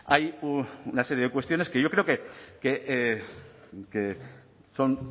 hay una serie de cuestiones que yo creo que son